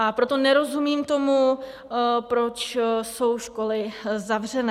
A proto nerozumím tomu, proč jsou školy zavřené.